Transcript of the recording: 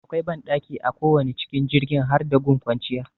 Akwai banɗaki a kowane cikin jirgin har da gun kwanciya